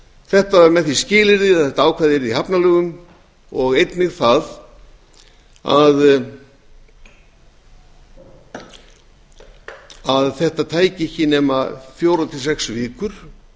þetta er með því skilyrði að þetta ákvæði yrði í hafnalögum og einnig það að þetta tæki ekki nema fjórir til sex vikur